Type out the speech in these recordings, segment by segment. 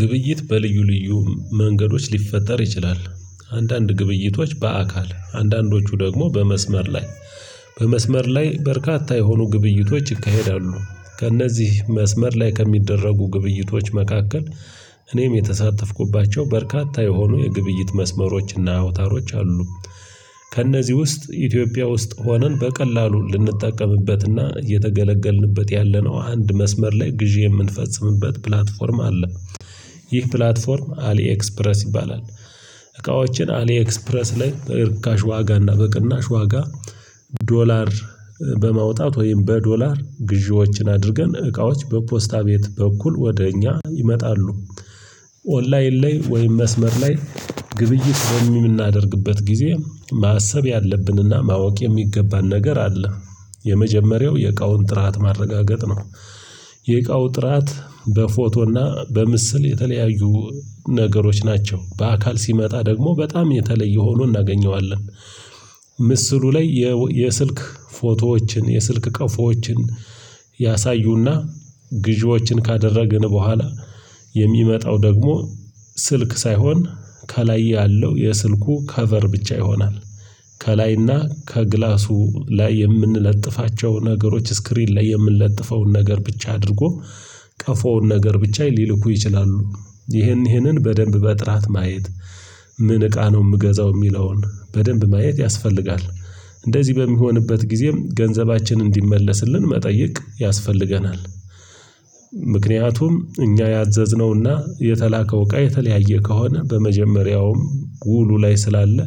ግብይት በልዩ ልዩ መንገዶች ሊፈጠር ይችላል አንዳንድ ግብይቶች በአካል አንዳንዶቹ ደግሞ በመስመር ላይ በመስመር ላይ በርካታ የሆኑ ግብይቶች ይካሄዳሉ። ከእነዚህ መስመር ላይ ከሚደረጉ ግብይቶች መካከል እኔም የተሳተፍኩባቸው በርካታ የሆኑ የግብይት መስመሮችና አውታሮች አሉ። ከእነዚህ ውስጥ ኢትዮጵያ ውስጥ ሆነን በቀላሉ ልንጠቀምበትና የተገለገልንበት ያለነው አንድ መስመር ላይ ግዢ የምንፈጽምበት ፕላትፎርም አለ ይህ ፕላትፎርም አሊ ኤክስፕረስ ይባላል። እቃዎችን አሊ ኤክስፕረስ ላይ በርካሽ ዋጋ እና በቅናሽ ዋጋ ዶላር በማውጣት ወይም በዶላር ግዢዎችን አድርገን እቃዎች በፖስታ ቤት በኩል ወደ እኛ ይመጣሉ። ኦንላይን ላይ ወይም መስመር ላይ ግብይት በምናደርግበት ጊዜ ማሰብ ያለብንና ማወቅ የሚገባን ነገር አለ። የመጀመሪያው የእቃውን ጥራት ማረጋገጥ ነው። የእቃው ጥራት በፎቶና በምስል የተለያዩ ነገሮች ናቸው በአካል ሲመጣ ደግሞ በጣም የተለየ ሆኖ እናገኘዋለን። ምስሉ ላይ የስልክ ፎቶዎችን የስልክ ቀፎችን ያሳዩና ግዢዎችን ካደረግን በኋላ የሚመጣው ደግሞ ስልክ ሳይሆን ከላይ ያለው የስልኩ ከቨር ብቻ ይሆናል። ከላይና ከግላሱ ላይ የምንለጥፋቸው ነገሮች ስክሪን ላይ የምንለጥፈውን ነገር ብቻ አድርጎ ቀፎውን ነገር ብቻ ሊልኩ ይችላሉ። ይህንን በደንብ በጥራት ማየት ምን እቃ ነው የምገዛው የሚለውን በደንብ ማየት ያስፈልጋል። እንደዚህ በሚሆንበት ጊዜም ገንዘባችንን እንዲመለስልን መጠየቅ ያስፈልገናል። ምክንያቱም እኛ ያዘዝነውና የተላከው እቃ የተለያየ ከሆነ በመጀመሪያውም ውሉ ላይ ስላለ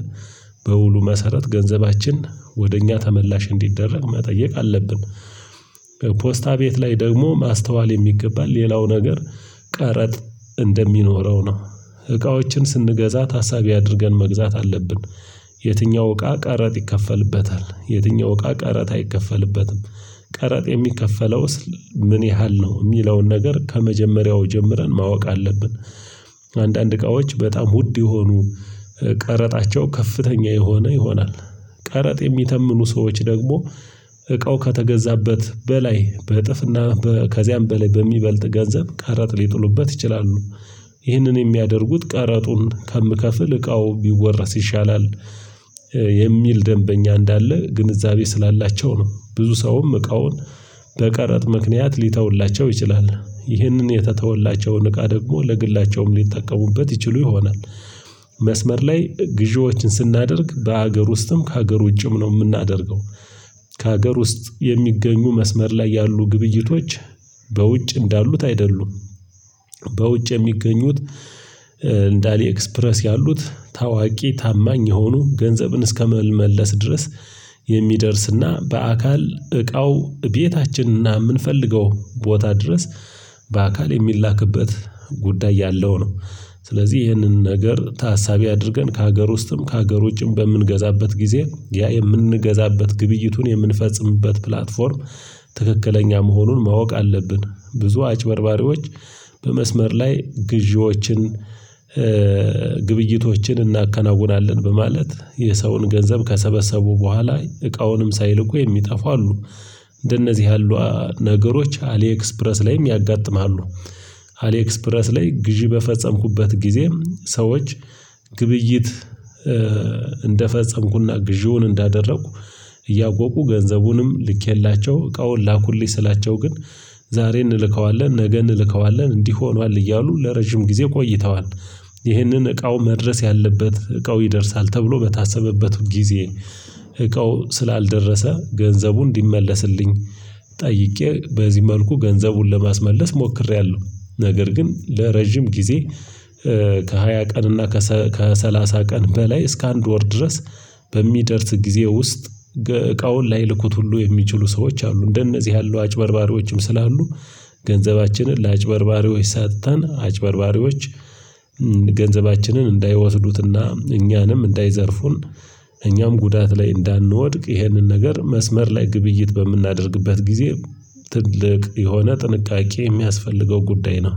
በውሉ መሰረት ገንዘባችን ወደ እኛ ተመላሽ እንዲደረግ መጠየቅ አለብን። ፖስታ ቤት ላይ ደግሞ ማስተዋል የሚገባን ሌላው ነገር ቀረጥ እንደሚኖረው ነው። እቃዎችን ስንገዛት ታሳቢ አድርገን መግዛት አለብን። የትኛው እቃ ቀረጥ ይከፈልበታል የትኛው እቃ ቀረጥ አይከፈልበትም ቀረጥ የሚከፈለውስ ምን ያህል ነው የሚለውን ነገር ከመጀመሪያው ጀምረን ማወቅ አለብን። አንዳንድ እቃዎች በጣም ውድ የሆኑ ቀረጣቸው ከፍተኛ የሆነ ይሆናል። ቀረጥ የሚተምኑ ሰዎች ደግሞ እቃው ከተገዛበት በላይ በእጥፍና ከዚያም በላይ በሚበልጥ ገንዘብ ቀረጥ ሊጥሉበት ይችላሉ። ይህንን የሚያደርጉት ቀረጡን ከምከፍል እቃው ቢወረስ ይሻላል። የሚል ደንበኛ እንዳለ ግንዛቤ ስላላቸው ነው። ብዙ ሰውም እቃውን በቀረጥ ምክንያት ሊተውላቸው ይችላል ይህንን የተተወላቸውን እቃ ደግሞ ለግላቸውም ሊጠቀሙበት ይችሉ ይሆናል። መስመር ላይ ግዢዎችን ስናደርግ በሀገር ውስጥም ከሀገር ውጭም ነው የምናደርገው። ከሀገር ውስጥ የሚገኙ መስመር ላይ ያሉ ግብይቶች በውጭ እንዳሉት አይደሉም። በውጭ የሚገኙት እንደ አሊኤክስፕረስ ያሉት ታዋቂ ታማኝ የሆኑ ገንዘብን እስከመመለስ ድረስ የሚደርስና በአካል እቃው ቤታችንና የምንፈልገው ቦታ ድረስ በአካል የሚላክበት ጉዳይ ያለው ነው። ስለዚህ ይህንን ነገር ታሳቢ አድርገን ከሀገር ውስጥም ከሀገር ውጭም በምንገዛበት ጊዜ ያ የምንገዛበት ግብይቱን የምንፈጽምበት ፕላትፎርም ትክክለኛ መሆኑን ማወቅ አለብን። ብዙ አጭበርባሪዎች በመስመር ላይ ግዢዎችን ግብይቶችን እናከናውናለን በማለት የሰውን ገንዘብ ከሰበሰቡ በኋላ እቃውንም ሳይልኩ የሚጠፋው አሉ። እንደነዚህ ያሉ ነገሮች አሌክስፕረስ ላይም ያጋጥማሉ። አሌክስፕረስ ላይ ግዢ በፈጸምኩበት ጊዜ ሰዎች ግብይት እንደፈጸምኩና ግዢውን እንዳደረኩ እያወቁ ገንዘቡንም ልኬላቸው እቃውን ላኩልኝ ስላቸው ግን ዛሬ እንልከዋለን ነገ እንልከዋለን እንዲህ ሆኗል እያሉ ለረጅም ጊዜ ቆይተዋል። ይህንን እቃው መድረስ ያለበት እቃው ይደርሳል ተብሎ በታሰበበት ጊዜ እቃው ስላልደረሰ ገንዘቡን እንዲመለስልኝ ጠይቄ በዚህ መልኩ ገንዘቡን ለማስመለስ ሞክሬያለሁ። ነገር ግን ለረጅም ጊዜ ከሃያ ቀን እና ከሰላሳ ቀን በላይ እስከ አንድ ወር ድረስ። በሚደርስ ጊዜ ውስጥ እቃውን ላይልኩት ሁሉ የሚችሉ ሰዎች አሉ እንደነዚህ ያሉ አጭበርባሪዎችም ስላሉ። ገንዘባችንን ለአጭበርባሪዎች ሰጥተን አጭበርባሪዎች ገንዘባችንን እንዳይወስዱትና እኛንም እንዳይዘርፉን እኛም ጉዳት ላይ እንዳንወድቅ ይህንን ነገር መስመር ላይ ግብይት በምናደርግበት ጊዜ። ትልቅ የሆነ ጥንቃቄ የሚያስፈልገው ጉዳይ ነው